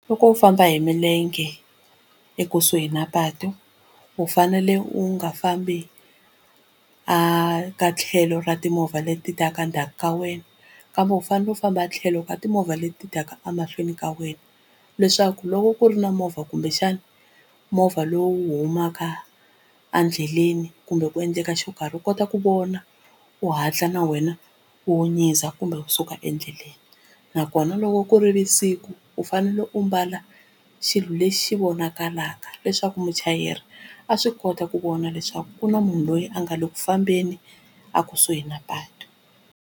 Loko u famba hi milenge ekusuhi na patu u fanele u nga fambi a ka tlhelo ra timovha leti ta ka ndzhaku ka wena kambe u fanele u famba tlhelo ka timovha leti taka a mahlweni ka wena leswaku loko ku ri na movha kumbexana movha lowu humaka a ndleleni kumbe ku endleka xo karhi u kota ku vona u hatla na wena u nyiza kumbe wu suka endleleni nakona loko ku ri vusiku u fanele u mbala xilo lexi vonakalaka leswaku muchayeri a swi kota ku vona leswaku ku na munhu loyi a nga le ku fambeni a kusuhi na patu.